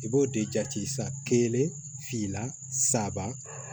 I b'o de jate sa kelen finna saba